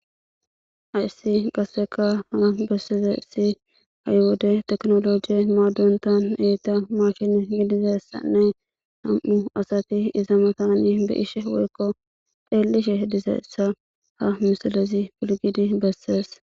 ayssi qasseka ha besseze si haywode teknolojiye maadontan eeta mashin gidizessanne ham7u asati iza matani be ishe woykko dheellishe dizeessa ha misilezi pilgidi bessees